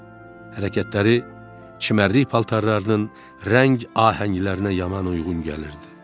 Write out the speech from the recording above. Hərəkətləri çimərlik paltarlarının rəng ahənglərinə yaman uyğun gəlirdi.